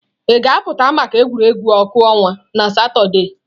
Ị ga-apụta maka egwuregwu ọkụ ọnwa na Satọde?